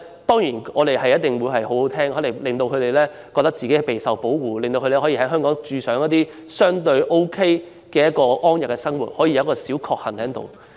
當然，這種說話很動聽，令青年人覺得自己備受保護，他們可以在香港相對安逸地生活，真是"小確幸"。